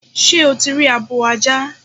Sé o ti rí abo ajá?